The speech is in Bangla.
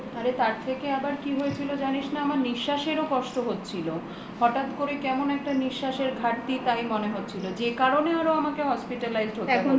আরে তার থেকে আবার কি হয়েছিল জানিস না আমার নিশ্বাসেরও কষ্ট হচ্ছিলো হঠাৎ করে কেমন একটা নিশ্বাসের ঘাটতি তাই মনে হচ্ছিলো যে কারণে আমাকে hospitalized হতে হলো